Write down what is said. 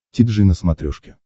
ти джи на смотрешке